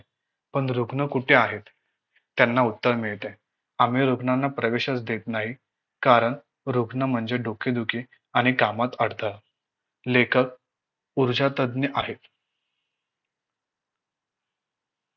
पण रुग्ण कुठे आहेत त्यांना उत्तर मिळते आम्ही रुग्णांना प्रवेशच देत नाही कारण रुग्ण म्हणजे डोकेदुखी आणि कामात अडथळा लेखक ऊर्जांतज्ञ आहेत